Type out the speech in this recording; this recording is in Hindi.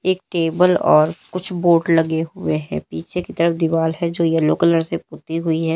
एक टेबल और कुछ बोट लगे हुए हैं पीछे की तरफ दीवार है जो येल्लो कलर से पुती हुई है।